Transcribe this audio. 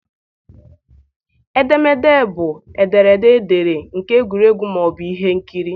Edemede bụ ederede ederede nke egwuregwu ma ọ bụ ihe nkiri.